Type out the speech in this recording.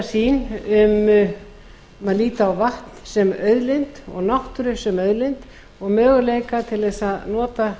sýn um að líta á vatn sem auðlind og náttúru sem auðlind og möguleika til að nota